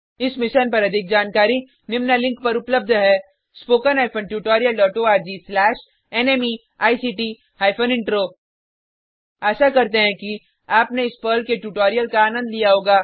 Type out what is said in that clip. इस मिशन पर अधिक जानकारी निम्न लिंक पर उपलब्ध है httpspoken tutorialorgNMEICT Intro आशा करते हैं कि आपने इस पर्ल के ट्यूटोरियल का आनंद लिया होगा